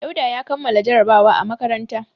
Dauda ya kammala jarabawa a makaranta.